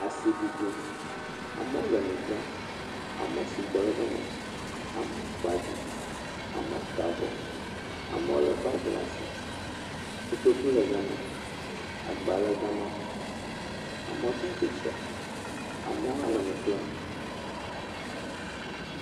Asiɖiɖim, amewo le nu dzram, amewo sugbɔ le gama, amewo kpa vi, amewo ta avɔ, amewo lé bagi le asi, kotoku le gama, agba le gama, amewo tsatsitre, amewo hã le nu ƒlem.